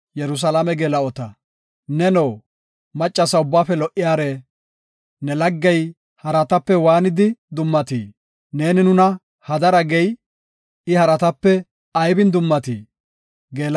Neno, maccasa ubbaafe lo77iyara, ne laggey haratape waanidi dummatii? Neeni nuna hadara gey, I haratape aybin dummatii?